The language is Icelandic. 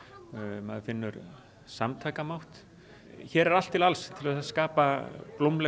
maður finnur samtakamátt hér er allt til alls til þess að skapa blómlegt